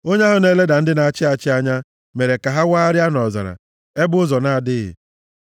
onye ahụ na-eleda ndị na-achị achị anya mere ka ha wagharịa nʼọzara, ebe ụzọ na-adịghị.